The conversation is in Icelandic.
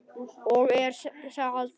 Og er það betra?